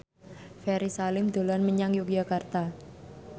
Ferry Salim dolan menyang Yogyakarta